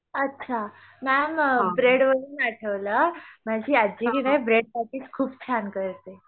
अच्छा ma'am bread वर ठेवला माजी आज्जी कीनाही ब्रेड पेटीस खूब छान करते